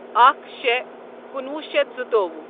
اکھ شے کنُوہ شیتھ زٕتووُہ